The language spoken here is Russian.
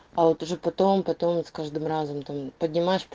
а вот уже потом потом с каждым разом там поднимаешь